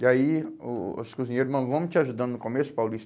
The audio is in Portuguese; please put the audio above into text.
E aí o o os cozinheiros, nós vamos te ajudando no começo,